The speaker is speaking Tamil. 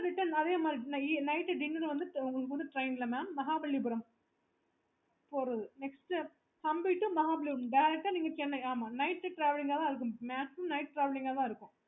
return அதே மாதிரி தான் night dinner வந்து train ல Mahabalipuramnext hampi to Mahabalipuram direct chennai